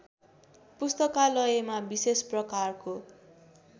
पुस्तकालयमा विशेष प्रकारको